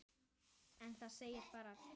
En það segir ekki allt.